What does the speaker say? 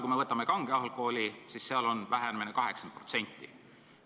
Kui me aga võtame kange alkoholi, siis selle müük peaks vähenema 80%.